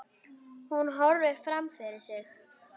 Hún horfir fram fyrir sig.